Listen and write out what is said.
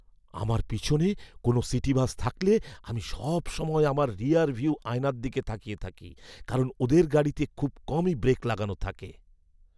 আমার পিছনে কোনো সিটি বাস থাকলে আমি সবসময় আমার রিয়ারভিউ আয়নার দিকে তাকিয়ে থাকি, কারণ ওদের গাড়িতে খুব কমই ব্রেক লাগানো থাকে।